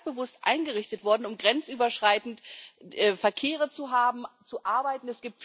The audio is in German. Die ist ganz bewusst eingerichtet worden, um grenzüberschreitend Verkehre zu haben, zu arbeiten.